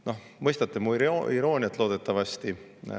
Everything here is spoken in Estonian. Te mõistate mu irooniat, loodetavasti.